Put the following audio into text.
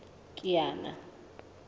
kiana